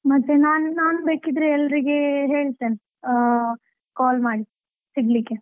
ಮತ್ತೆ ನನ್~ ನಾನು ಬೇಕಿದ್ರೆ ಎಲ್ಲರಿಗೆ ಹೇಳ್ತೇನೆ, ಆ call ಮಾಡಿ ಸಿಗಲಿಕ್ಕೆ.